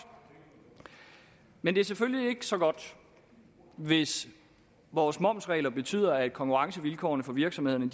men det er selvfølgelig ikke så godt hvis vores momsregler betyder at konkurrencevilkårene for virksomhederne